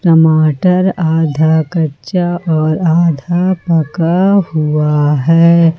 टमाटर आधा कच्चा और आधा पका हुआ है।